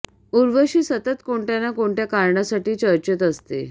उर्वशी सतत कोणत्या ना कोणत्या कारणासाठी चर्चेत असते